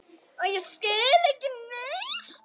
Og ég skil ekki neitt.